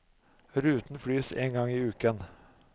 Ruten flys en gang i uken.